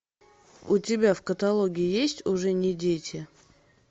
у тебя в каталоге есть уже не дети